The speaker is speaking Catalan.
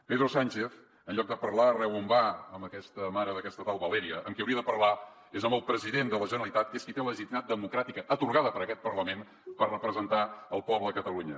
pedro sánchez en lloc de parlar arreu on va amb aquesta mare d’aquesta tal valeria amb qui hauria de parlar és amb el president de la generalitat que és qui té legitimitat democràtica atorgada per aquest parlament per representar el poble de catalunya